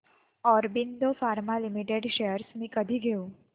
Aurobindo pharma limited shares मी कधी घेऊ